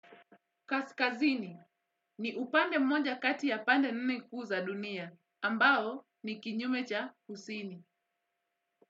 Kaskazini ni upande mmoja kati ya pande nne kuu za dunia, ambao ni kinyume cha husini.